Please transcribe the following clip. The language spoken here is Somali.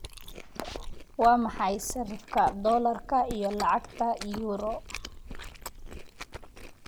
Waa maxay sarifka doolarka iyo lacagta euro?